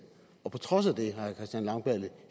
og på trods af det har herre christian langballe